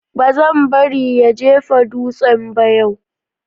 Ba zan bari ya jefa dutsen ba yau.